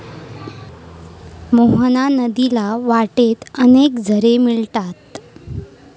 मोहना नदीला वाटेत अनेक झरे मिळतात.